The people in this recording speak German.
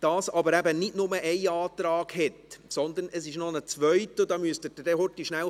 Dazu gibt es aber eben nicht nur einen Antrag, sondern es gibt noch einen zweiten, und diesen müssen Sie noch schnell suchen.